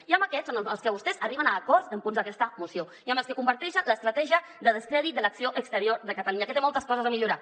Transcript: i amb aquests són amb els que vostès arriben a acords en punts d’aquesta moció i amb els que comparteixen l’estratègia de descrèdit de l’acció exterior de catalunya que té moltes coses a millorar